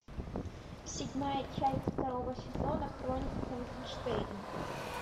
седьмая часть второго сезона хроники франкенштейна